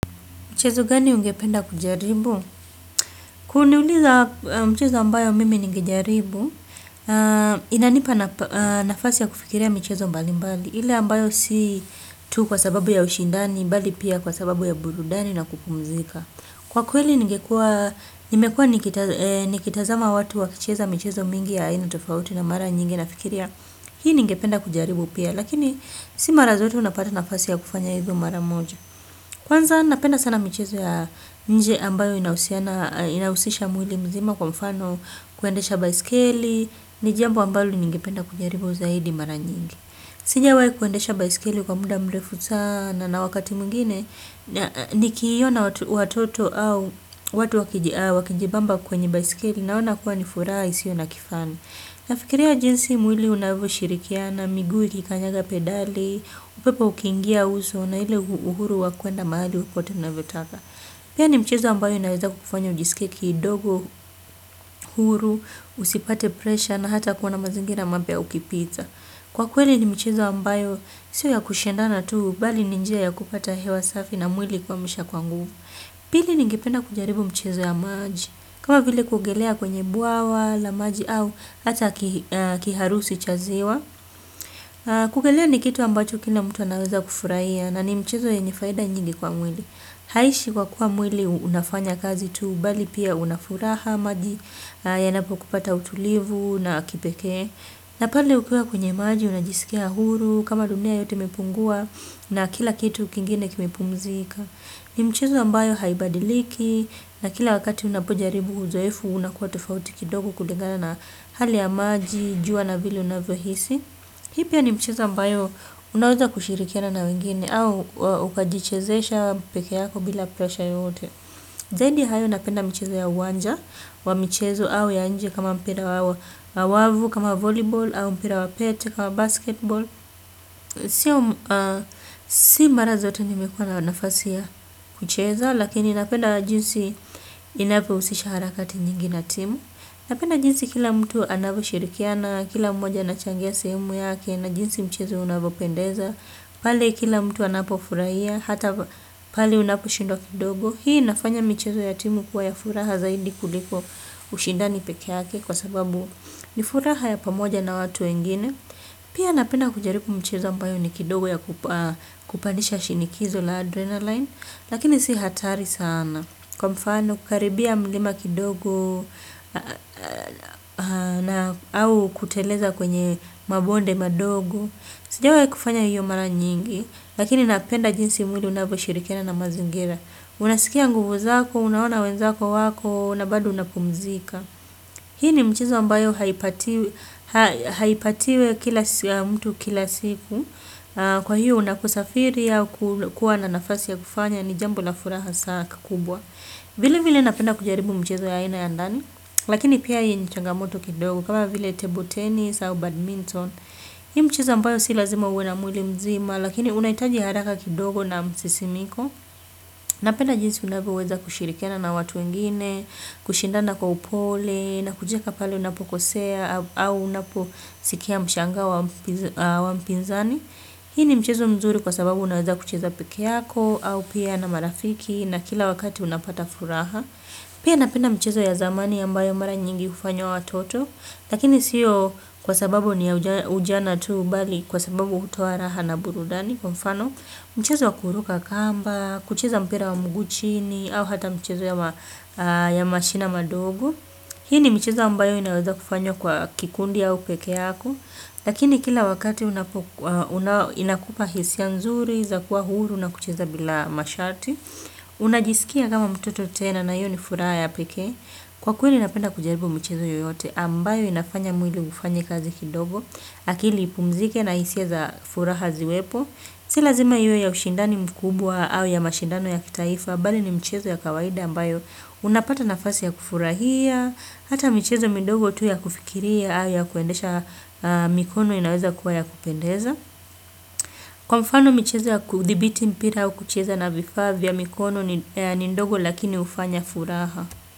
Mchezo gani ungependa kujaribu? Kuniuliza mchezo ambayo mimi ningejaribu, inanipa nafasi ya kufikiria michezo mbalimbali. Ile ambayo si tu kwa sababu ya ushindani, bali pia kwa sababu ya burudani na kupumzika. Kwa kweli ningekua, nimekua nikitazama watu wakicheza michezo mingi ya aina tofauti na mara nyingi nafikiria. Hii ningependa kujaribu pia, lakini si mara zote unapata nafasi ya kufanya hivyo mara moja. Kwanza napenda sana michezo ya nje ambayo inahusisha mwili mzima kwa mfano kuendesha baiskeli, ni jambo ambalo ningependa kujaribu zaidi mara nyingi. Sijawahi kuendesha baiskeli kwa muda mrefu sana na wakati mwingine, nikiona watoto au watu wakijibamba kwenye baiskeli naona kuwa ni furaha isiyo na kifani. Nafikiria jinsi mwili unavyoshirikiana, miguu ikikanyaga pedali, upepo ukiingia uso na ile uhuru wa kuenda mahali popote unavyotaka. Pia ni mchezo ambayo inaweza kukufanya ujisikie, kidogo, huru, usipate presha na hata kuona mazingira mapya ukipita. Kwa kweli ni mchezo ambayo, sio ya kushindana tu, bali ni njia ya kupata hewa safi na mwili kuhamisha kwa nguvu. Pili ningependa kujaribu mchezo ya maji kama vile kuogelea kwenye bwawa la maji au hata kiharusi cha ziwa. Kuogelea ni kitu ambacho kila mtu anaweza kufurahia. Na ni mchezo yenye faida nyingi kwa mwili. Haiishi kwa kuwa mwili unafanya kazi tu bali pia una furaha maji yanapokupa hata utulivu na wa kipekee. Na pale ukiwa kwenye maji unajisikia huru kama dunia yote imepungua na kila kitu kingine kimepumzika. Ni mchezo ambayo haibadiliki na kila wakati unapojaribu uzoefu unakuwa tofauti kidogo kulingana na hali ya maji, jua na vile unavyohisi. Hii pia ni mchezo ambayo unaweza kushirikiana na wengine au ukajichezesha peke yako bila presha yoyote. Zaidi ya hayo napenda mchezo ya uwanja wa mchezo au ya nje kama mpira wa wavu, kama volleyball au mpira wa pete kama basketball. Si mara zote nimekuwa na nafasi ya kucheza lakini napenda jinsi inavyohusisha harakati nyingi na timu, napenda jinsi kila mtu anavyoshirikiana, kila mmoja anachangia sehemu yake, na jinsi mchezo unavyopendeza. Pale kila mtu anapofurahia, hata pale unaposhindwa kidogo. Hii inafanya michezo ya timu kuwa ya furaha zaidi kuliko ushindani peke yake kwa sababu ni furaha ya pamoja na watu wengine. Pia napenda kujaribu mchezo ambayo ni kidogo ya kupandisha shinikizo la adrenalin, lakini si hatari sana. Kwa mfano, kukaribia mlima kidogo, au kuteleza kwenye mabonde madogo. Sijawahi kufanya hiyo mara nyingi, lakini napenda jinsi mwili unavyoshirikiana na mazingira. Unasikia nguvu zako, unaona wenzako wako, na bado unapumzika. Hii ni mchezo ambayo haipatiwi kila siku, kwa hiyo unaposafiri au kuwa na nafasi ya kufanya ni jambo la furaha saa kubwa. Vilevile napenda kujaribu mchezo ya aina ya ndani, lakini pia hii ni changamoto kidogo, kama vile table tennis au badminton. Hii mchezo ambayo si lazima uwe na mwili mzima, lakini unahitaji haraka kidogo na msisimuko. Napenda jinsi unavyoweza kushirikiana na watu wengine, kushindana kwa upole, na kujieka pale unapokosea, au unaposikia mshangao wa mpinzani. Hii ni mchezo mzuri kwa sababu unaweza kucheza peke yako, au pia na marafiki, na kila wakati unapata furaha. Pia napenda mchezo ya zamani ambayo mara nyingi hufanywa watoto, lakini sio kwa sababu ni ya ujana tu bali kwa sababu hutoa raha na burudani, kwa mfano mchezo wa kuruka kamba, kucheza mpira wa mguu chini, au hata mchezo ya mashina madogo. Hii ni michezo ambayo inaweza kufanywa kwa kikundi au peke yako. Lakini kila wakati inakupa hisia nzuri, za kuwa huru, na kucheza bila masharti. Unajisikia kama mtoto tena na hiyo ni furaha ya pekee. Kwa kweli napenda kujaribu michezo yoyote ambayo inafanya mwili ufanye kazi kidogo. Akili ipumzike na hisia za furaha ziwepo. Si lazima iwe ya ushindani mkubwa au ya mashindano ya kitaifa bali ni mchezo ya kawaida ambayo unapata nafasi ya kufurahia, hata michezo midogo tu ya kufikiria au ya kuendesha mikono inaweza kuwa ya kupendeza. Kwa mfano michezo ya kuthibiti mpira au kucheza na vifaa vya mikono ni ndogo lakini hufanya furaha.